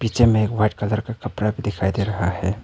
पीछे में एक व्हाइट कलर का कपड़ा दिखाई दे रहा है।